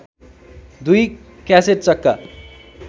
दुई क्यासेट चक्का